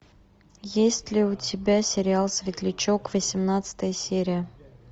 есть ли у тебя сериал светлячок восемнадцатая серия